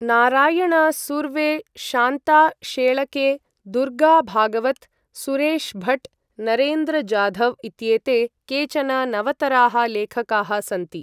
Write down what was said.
नारायण सुर्वे, शान्ता शेळके, दुर्गा भागवत्, सुरेश भट्, नरेन्द्र जाधव् इत्येते केचन नवतराः लेखकाः सन्ति।